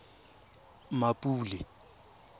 mmapule